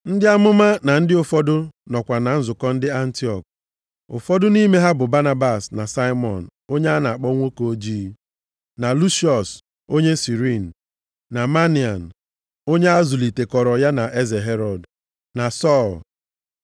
Ndị amụma na ndị nkuzi ụfọdụ nọkwa na nzukọ dị nʼAntiọk. Ụfọdụ nʼime ha bụ Banabas na Simiọn onye a na-akpọ nwoke ojii, na Lusiọs onye Sirini, na Manaen (onye azụlitekọrọ ya na eze Herọd), na Sọl.